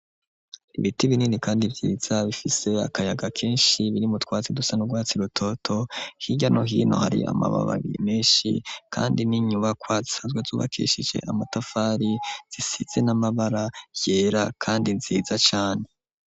Ibiti binini kandi vyiza bifise akayaga kenshi biri mu twatsi dusa n'urwatsi rutoto higamwo hino hari amababi meshi kandi n'inyubakwa zisazwe zubakeshije amatafari zisitze n'amabara yera kandi nziza cane.